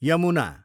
Yamuna